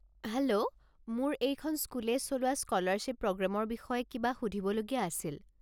Hello, মোৰ এইখন স্কুলে চলোৱা স্কলাৰশ্বিপ প্ৰগ্ৰেমৰ বিষয়ে কিবা সুধিবলগীয়া আছিল।